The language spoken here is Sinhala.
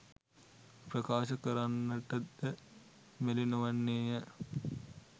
ප්‍රකාශ කරන්නටද මැලිනොවන්නේය.